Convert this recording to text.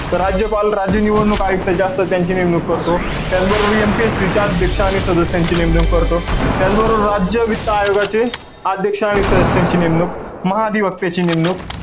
तर राज्यपाल, राज्य निवडणूक आयुक्त जे असतात, त्यांची नेमणूक करतो. त्याचबरोबर MPSC चे अध्यक्ष आणि सदस्यांची नेमणूक करतो. त्याचबरोबर राज्य वित्त आयोगाचे अध्यक्ष आणि सदस्यांची नेमणूक, महाधिवक्त्याची नेमणूक,